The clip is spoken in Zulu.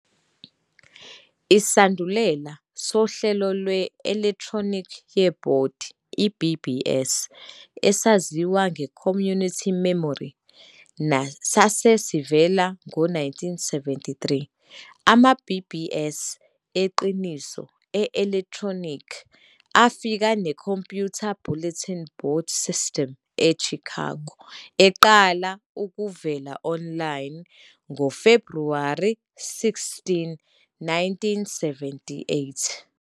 Isandulela sohlelo lwe-elekhtronikhi yebhodi, i-BBS, esaziwa nge-Community Memory, sase sivele ngo-1973. Ama-BBS eqiniso e-elekthronikhi afika ne-Computer Bulletin Board System eChicago, eyaqala ukuvela online ngoFebhuwari 16, 1978.